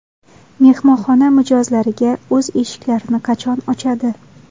Mehmonxona mijozlariga o‘z eshiklarini qachon ochadi?